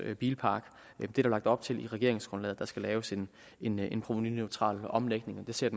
bilpark der er lagt op til i regeringsgrundlaget at der skal laves en en provenuneutral omlægning og den ser